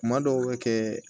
Kuma dɔw bɛ kɛ